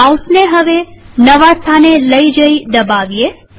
માઉસને નવા સ્થાને લઇ જઈ દબાવીએ